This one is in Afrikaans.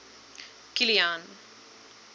kilian